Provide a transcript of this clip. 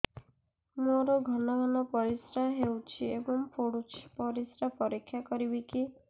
ମୋର ଘନ ଘନ ପରିସ୍ରା ହେଉଛି ଏବଂ ପଡ଼ୁଛି ପରିସ୍ରା ପରୀକ୍ଷା କରିବିକି